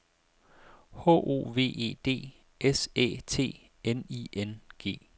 H O V E D S Æ T N I N G